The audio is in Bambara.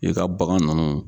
I ka bagan nunnu